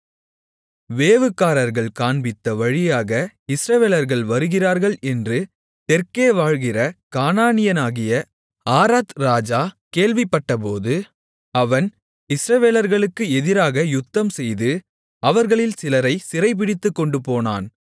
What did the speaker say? வேவுகாரர்கள் காண்பித்த வழியாக இஸ்ரவேலர்கள் வருகிறார்கள் என்று தெற்கே வாழ்கிற கானானியனாகிய ஆராத் ராஜா கேள்விப்பட்டபோது அவன் இஸ்ரவேலர்களுக்கு எதிராக யுத்தம் செய்து அவர்களில் சிலரைச் சிறைபிடித்துக்கொண்டுபோனான்